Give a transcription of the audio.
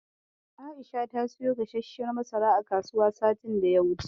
Aisha ta siyo gasasshiyar masara a kasuwa satin da ya wuce.